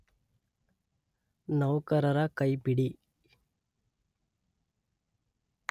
ನೌಕರರ ಕೈಪಿಡಿ